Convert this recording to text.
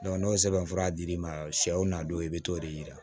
n'o sɛbɛnfura dir'i ma sɛw na don i bi t'o de yira